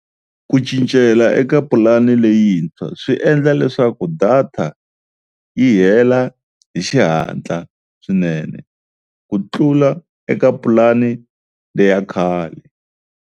Ku cincela eka pulani leyintshwa swi endla leswaku data yi hela hi xihatla swinene ku tlula eka pulani leya khale.